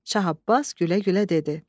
Şah Abbas gülə-gülə dedi: